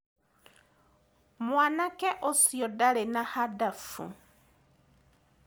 Mwanake ũcio ndarĩ na handabu.